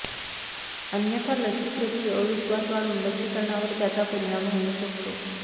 अन्यथा लसीप्रती अविश्वास वाढून लसीकरणावर त्याचा परिणाम होऊ शकतो